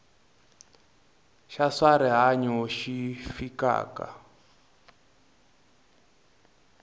xa swa rihanyu xi fikaka